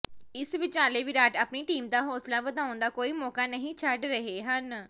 ਇਸ ਵਿਚਾਲੇ ਵਿਰਾਟ ਆਪਣੀ ਟੀਮ ਦਾ ਹੌਸਲਾ ਵਧਾਉਣ ਦਾ ਕੋਈ ਮੌਕਾ ਨਹੀਂ ਛੱਡ ਰਹੇ ਹਨ